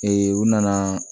u nana